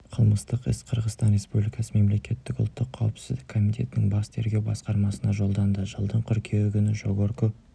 қылмыстық іс қырғызстан республикасы мемлекеттік ұлттық қауіпсіздік комитетінің бас тергеу басқармасына жолданды жылдың қыркүйегі күні жогорку